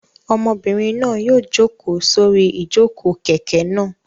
Ọmọbìnrin náà yóò jókòó sórí ìjókòó kẹ̀kẹ́ náà.